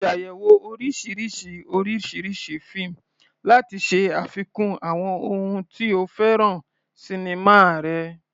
Ṣàyẹ̀wò oríṣiríṣi oríṣiríṣi fíìmù láti ṣe àfikún àwọn ohun tí o fẹ́ràn sinimá rẹ.